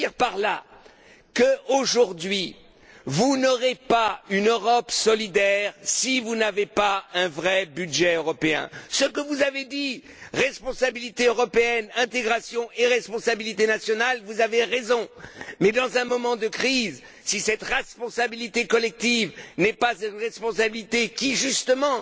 Je veux dire que, aujourd'hui, vous n'aurez pas une Europe solidaire si vous n'avez pas un vrai budget européen. Vous avez parlé de responsabilité européenne, d'intégration et de responsabilité nationale, vous avez raison, mais, dans un moment de crise, si cette responsabilité collective n'est pas une responsabilité qui, justement,